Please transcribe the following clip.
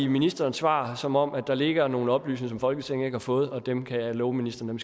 ministerens svar som om der ligger nogle oplysninger som folketinget ikke har fået og dem kan jeg love ministeren